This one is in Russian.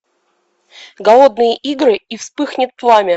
голодные игры и вспыхнет пламя